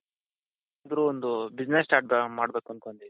ಅಂದ್ರೆ ಒಂದು business start ಮಾಡ್ಬೇಕು